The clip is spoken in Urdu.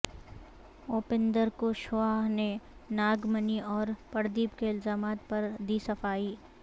اوپیندر کشواہا نے ناگ منی اور پردیپ کے الزامات پر دی صفائی